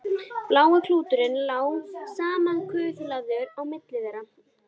Blái klúturinn lá samankuðlaður á milli þeirra.